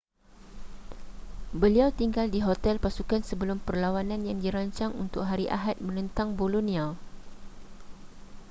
beliau tinggal di hotel pasukan sebelum perlawanan yang dirancang untuk hari ahad menentang bolonia